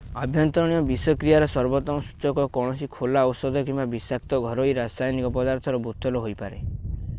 ଆଭ୍ୟନ୍ତରୀଣ ବିଷକ୍ରିୟାର ସର୍ବୋତ୍ତମ ସୂଚକ କୌଣସି ଖୋଲା ଔଷଧ କିମ୍ବା ବିଷାକ୍ତ ଘରୋଇ ରାସାୟନିକ ପଦାର୍ଥର ବୋତଲ ହୋଇପାରେ